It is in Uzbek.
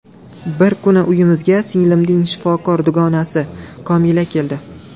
Bir kuni uyimizga singlimning shifokor dugonasi Komila keldi.